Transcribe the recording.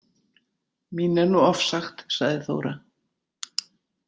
Mín er nú ofsagt, sagði Þóra.